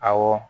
Awɔ